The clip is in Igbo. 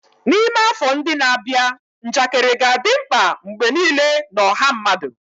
N'ime afọ ndị na-abịa, njakịrị ga-adị mkpa mgbe niile na ọha mmadụ.